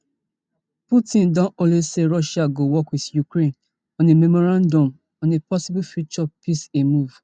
putin don only say russia go work with ukraine on a memorandum on a possible future peace a move